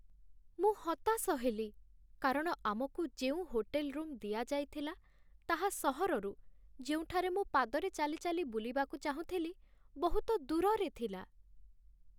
ମୁଁ ହତାଶ ହେଲି କାରଣ ଆମକୁ ଯେଉଁ ହୋଟେଲ୍ ରୁମ୍ ଦିଆଯାଇଥିଲା ତାହା ସହରରୁ, ଯେଉଁଠାରେ ମୁଁ ପାଦରେ ଚାଲି ଚାଲି ବୁଲିବାକୁ ଚାହୁଁଥିଲି, ବହୁତ ଦୂରରେ ଥିଲା